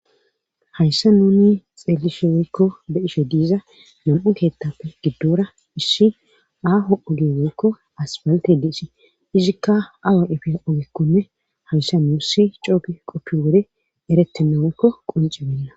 hayssa nuni xeelishe woykko be7ishe diiza nam7u keettappe giddora isshi aaho oge woykko aspalte diisi izikka awa efey ogekkonne hayssa nuu si cooke qoppi wore eretinnaweykko quncibenna